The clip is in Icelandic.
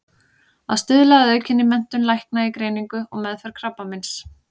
Að stuðla að aukinni menntun lækna í greiningu og meðferð krabbameins.